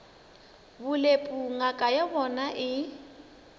bolepu ngaka ya bona e